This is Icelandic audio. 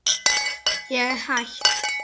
Ég er hætt.